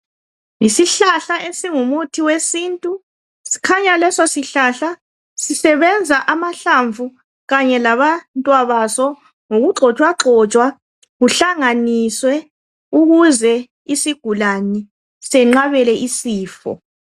Yisihlahla esingumuthi wesintu. Sikhanya leso sihlahla sisebenza amahlamvu kanye labantwabaso, ngokugxotshwagxotshwa, kuhlanganiswe ukuze isigulane senqabele isifo.